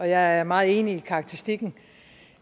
jeg er meget enig i karakteristikken